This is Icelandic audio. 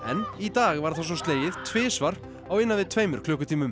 í dag var það svo slegið tvisvar á innan við tveimur klukkutímum